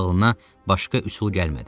Ağlına başqa üsul gəlmədi.